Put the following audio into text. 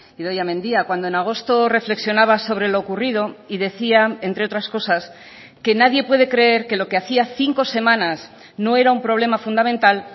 idoia mendia cuando en agosto reflexionaba sobre lo ocurrido y decía entre otras cosas que nadie puede creer que lo que hacía cinco semanas no era un problema fundamental